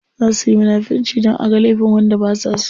Za suyi munafirci dan aga laifin wanda basa so.